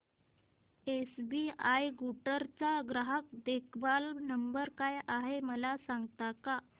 SBI Guntur चा ग्राहक देखभाल नंबर काय आहे मला सांगता का